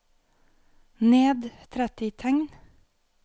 Ned tretti tegn